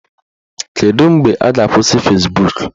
Kedu mgbe a ga-akwụsị Fezbuk?